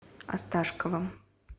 осташковым